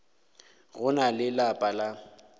go na le lapa la